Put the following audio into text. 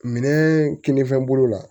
Minɛn kinfɛn bolo la